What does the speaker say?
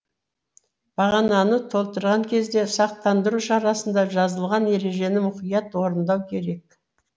бағананы толтырған кезде сақтандыру шарасында жазылған ережені мұқият орындау керек